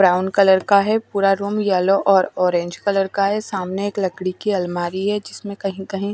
brown colour का है पूरा रूम येलो और ऑरेंज कलर का है सामने एक लकड़ी की अलमारी है जिसमें कहीं कहीं --